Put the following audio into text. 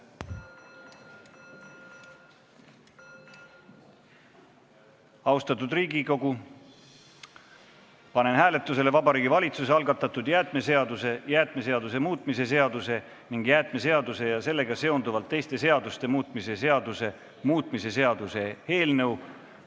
Austatud Riigikogu, panen hääletusele Vabariigi Valitsuse algatatud jäätmeseaduse, jäätmeseaduse muutmise seaduse ning jäätmeseaduse ja sellega seonduvalt teiste seaduste muutmise seaduse muutmise seaduse eelnõu.